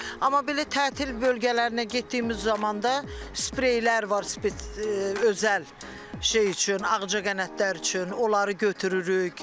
Amma belə tətil bölgələrinə getdiyimiz zamanda spreylər var, özəl şey üçün ağcaqanadlar üçün, onları götürürük.